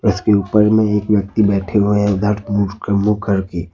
इसके ऊपर में एक व्यक्ति बैठे हुए हैं उधर मुंह मुंह करके।